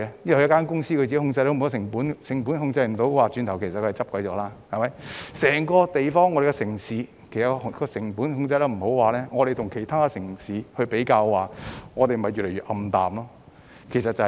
如果一間公司未能控制成本，轉眼便會倒閉；如果整個城市未能控制成本，相比其他城市，前景便會越來越暗淡，情況就是這樣。